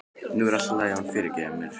Nú yrði allt í lagi og hún fyrirgæfi mér.